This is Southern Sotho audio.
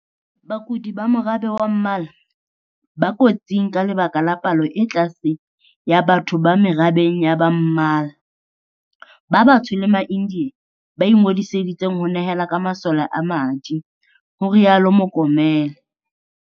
Bakudi ba morabe wa ba mmala, ba kotsing ka lebaka la palo e tlase ya batho ba merabeng ya ba mmala, ba batsho le ma-India ba ingodiseditseng ho nehela ka masole a madi, ho rialo Mokomele.